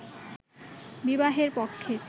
বিবাহের পক্ষে